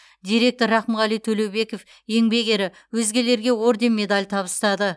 директор рақымғали төлеубеков еңбек ері өзгелерге орден медаль табыстады